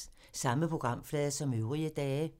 Samme programflade som øvrige dage